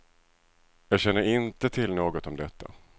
Jag känner inte till något om detta.